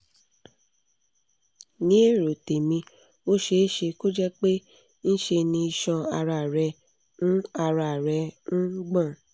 ní èrò tèmi ó ṣeé ṣe kó jẹ́ pé ńṣe ni iṣan ara rẹ ń ara rẹ ń gbọ̀n